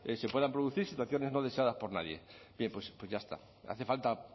se puedan producir situaciones no deseadas por nadie bien pues ya está no hace falta